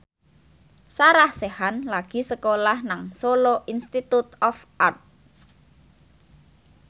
Sarah Sechan lagi sekolah nang Solo Institute of Art